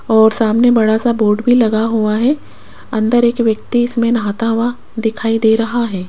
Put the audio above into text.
और सामने बड़ा सा बोर्ड भी लगा हुआ है अंदर एक व्यक्ति इसमें नहाता हुआ दिखाई दे रहा है।